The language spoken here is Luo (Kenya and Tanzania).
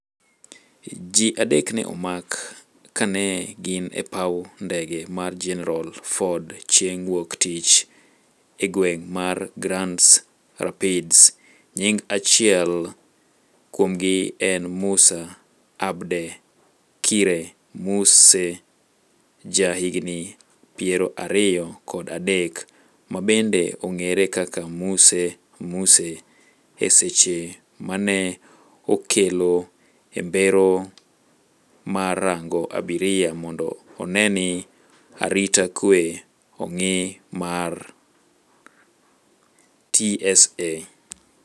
Ji adek ne omak ka ne gin e paw ndege mar General Ford chieng' wuok tich e gweng' mar Grands Rapids, nying achiel kuomgi en Musa Abdekire Muse ja higni piera riyo kod adek, ma bende ong'ere kaka Muse Muse, e seche ma ne okelo e mbero mar rango abiria mondo one ni arita kwe ong'i mar, TSA